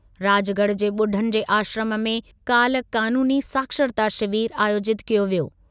राजगढ़ जे ॿुढनि जे आश्रमु में काल्ह क़ानूनी साक्षरता शिविर आयोजितु कयो वियो।